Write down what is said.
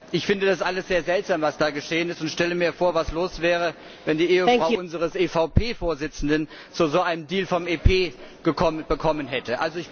Ich finde das alles sehr seltsam, was da geschehen ist, und stelle mir vor, was los wäre, wenn die Ehefrau unseres EVP Vorsitzenden so einen Deal vom EP bekommen hätte.